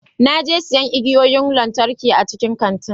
Na je siyan igiyoyin lantarki a cikin kantin.